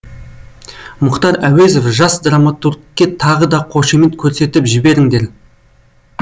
мұхтар әуезов жас драматургке тағы да қошемет көрсетіп жіберіңдер